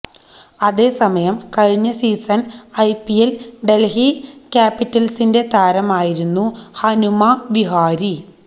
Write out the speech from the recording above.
അതേ സമയംകഴിഞ്ഞ സീസൺ ഐപിഎല്ലിൽ ഡെൽഹി ക്യാപിറ്റൽസിന്റെ താരമായിരുന്നു ഹനുമ വിഹാരി